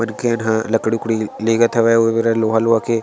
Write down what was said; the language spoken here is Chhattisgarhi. उनखेन ह लकड़ी उकडी लेगत हवे ओ मेरा लोहा वोहा के --